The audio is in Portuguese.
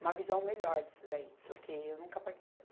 Uma visão melhor disso daí, porque eu nunca participei.